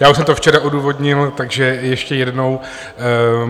Já už jsem to včera odůvodnil, takže ještě jednou.